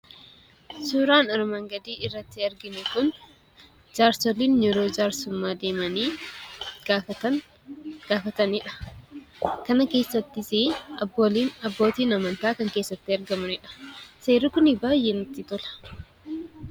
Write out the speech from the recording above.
Suuraan armaan gadii irrati arginu kun jaarsoliin yeroo jaarsummaa deemanii gaafatanidha. Kana keessattis abbooliin, abbootiin amantaa kan keessatti argamanidha. Seerri kuni baay'ee namatti tola!